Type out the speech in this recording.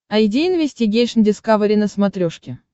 айди инвестигейшн дискавери на смотрешке